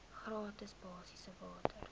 gratis basiese water